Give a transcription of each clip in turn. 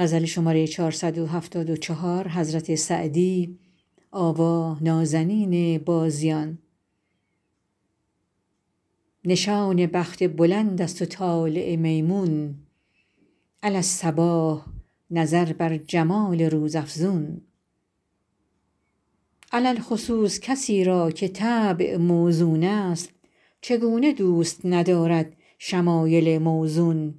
نشان بخت بلند است و طالع میمون علی الصباح نظر بر جمال روزافزون علی الخصوص کسی را که طبع موزون است چگونه دوست ندارد شمایل موزون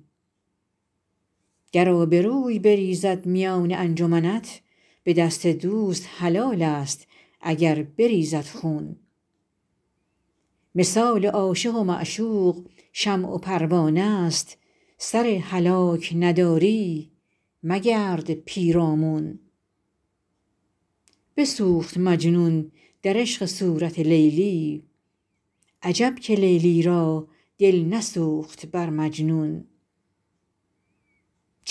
گر آبروی بریزد میان انجمنت به دست دوست حلال است اگر بریزد خون مثال عاشق و معشوق شمع و پروانه ست سر هلاک نداری مگرد پیرامون بسوخت مجنون در عشق صورت لیلی عجب که لیلی را دل نسوخت بر مجنون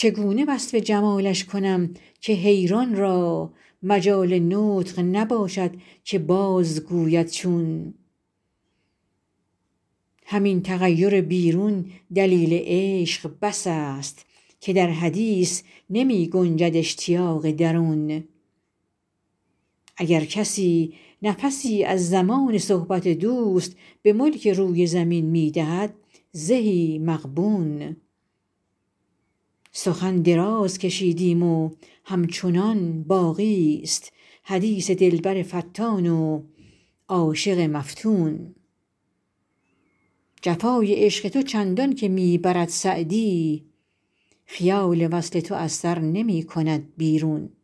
چگونه وصف جمالش کنم که حیران را مجال نطق نباشد که بازگوید چون همین تغیر بیرون دلیل عشق بس است که در حدیث نمی گنجد اشتیاق درون اگر کسی نفسی از زمان صحبت دوست به ملک روی زمین می دهد زهی مغبون سخن دراز کشیدیم و همچنان باقی ست حدیث دلبر فتان و عاشق مفتون جفای عشق تو چندان که می برد سعدی خیال وصل تو از سر نمی کند بیرون